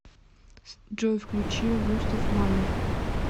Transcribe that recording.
джой включи густав малер